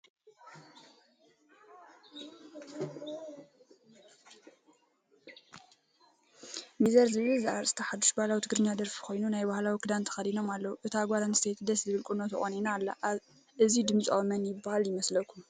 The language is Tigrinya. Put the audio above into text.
ሚዘር ዝብል ዘርእስቱ ሓዱሽ ባህላዊ ትግርኛ ደርፊ ኮይኑ ናይ ባህላዊ ክዳን ተከዲኖም ኣለው። እታ ጎል ኣንስየቲ ደስ ዝብል ቁኖ ተቆኒና ኣላ። እዙይ ድምፃዊ መን ይብሃል ይመስለኩም?